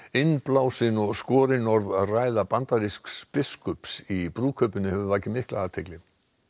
innblásin og skorinorð ræða bandarísks biskups í brúðkaupinu hefur vakið mikla athygli